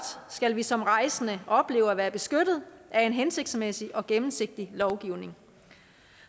skal vi som rejsende opleve at være beskyttet af en hensigtsmæssig og gennemsigtig lovgivning